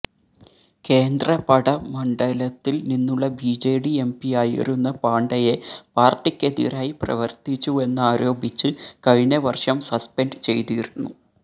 കേന്ദ്രപഡ മണ്ഡലത്തിൽ നിന്നുള്ള ബിജെഡി എംപിയായിരുന്ന പാണ്ഡയെ പാർട്ടിക്കെതിരായി പ്രവർത്തിച്ചുവെന്നാരോപിച്ച് കഴിഞ്ഞ വർഷം സസ്പെൻഡ് ചെയ്തിരുന്നു